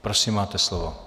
Prosím, máte slovo.